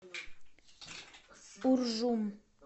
уржум